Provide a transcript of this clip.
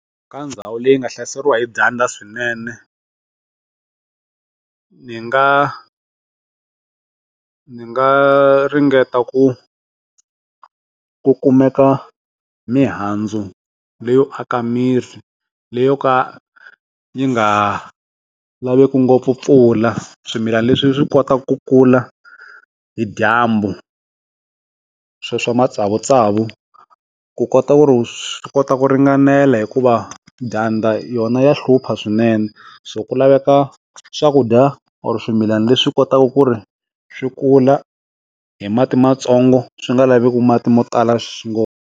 Ka ndhawu leyi nga hlaseriwa hi dyandza swinene ni nga, ni nga ringeta ku ku kumeka mihandzu leyo aka mirhi leyi yo ka yi nga laveku ngopfu mpfula swimilana leswi swi kotaka ku kula hi dyambu sweswo matsavu matsavu ku kota ku ri swi kota ku ringanela hikuva dyandza yona ya hlupha swinene so ku laveka swakudya or swimilana leswi kotaka ku ri swi kula hi mati matsongo swi nga laveki mati mo tala .